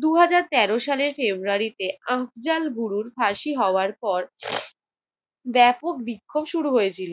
দুই হাজার তেরো সালে ফেব্রুয়ারিতে আফজাল বুড়োর ফাঁসি হওয়ার পর ব্যাপক বিক্ষোভ শুরু হয়েছিল।